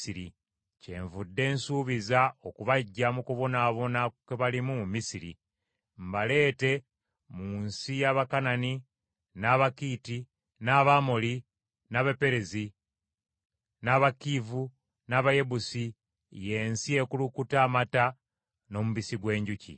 Kyenvudde nsuubiza okubaggya mu kubonaabona kwe balimu mu Misiri, mbaleete mu nsi y’Abakanani, n’Abakiiti, n’Abamoli, n’Abaperezi, n’Abakiivi, n’Abayebusi; y’ensi ekulukuta amata n’omubisi gw’enjuki.’